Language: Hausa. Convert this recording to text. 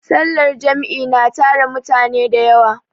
sallar Jam'i na tara mutane da yawa